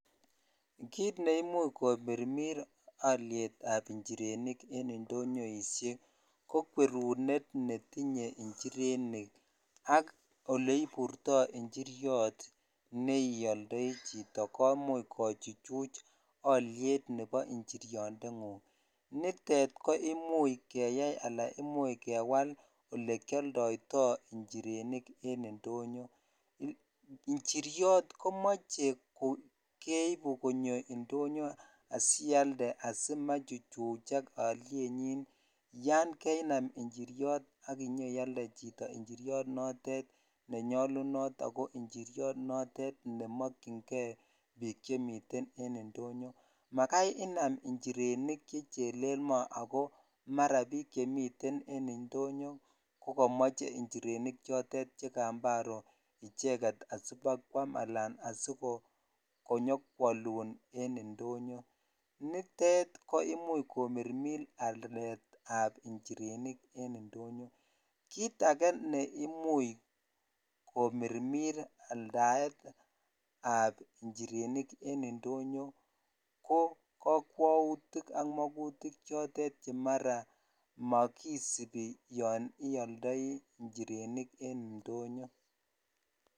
Kiit neimuch ko mirmir alyetab njirenik en indonyoisiek ko kwerunet netinye njirenik ak ole iburtoi njiriot ne ioldoi chito komuch kochuchuch alyet nebo njiriondengung, nitet koimuch keyai ala imuch kewal olekioldoitoi njirenik en indonyo. Njiriot komoche ko keibu konyo indonyo asialde asimachuchuchak alyenyi yan kainam njiriot akinyoialde chito njiriot notet ne nyalunot ako njiriot notet ne mokchinkei piik che miten en indonyo, makai inam njirenik che chelel mo ako mara piik chemiten en indonyo ko kamache njirenik chotet che kambaro icheket asi bakwam alan asikonyokwalun en indonyo, nitet ko imuch komirmir aletab njirenik en indonyo, kiit ake neimuch komirmir aldaetab njirenik en indonyo, ko kakwautik ak makutik chotet che mara makisibi yon ialdoi njirenik en indonyo.